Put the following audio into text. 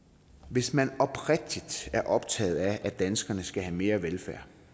hvis man er oprigtigt optaget af at danskerne skal have mere velfærd